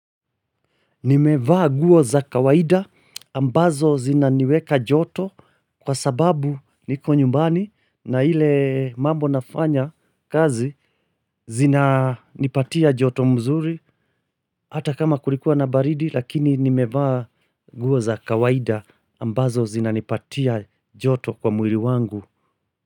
Nimevaa nguo za kawaida ambazo zina niweka joto kwa sababu niko nyumbani na ile mambo nafanya kazi zina nipatia joto mzuri hata kama kulikuwa na baridi lakini nimevaa nguo za kawaida ambazo zina nipatia joto kwa mwili wangu.